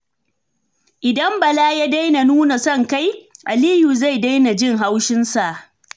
Idan Bala ya daina nuna son kai, Aliyu zai daina jin haushinsa.